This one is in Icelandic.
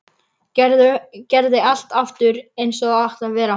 Gerði allt aftur eins og það átti að vera.